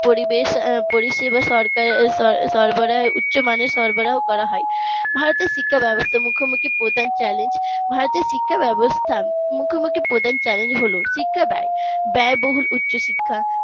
পরিবেশ পরিষেবা সরকারের সরবরাহে উচ্চমানের সরবরাহ করা হয় ভারতের শিক্ষা ব্যবস্থা মুখ্যমন্ত্রীর প্রধান challenge ভারতের শিক্ষা ব্যবস্থার মুখ্যমন্ত্রীর প্রধান challenge হলো শিক্ষা ব্যয় ব্যয়বহুল উচ্চশিক্ষা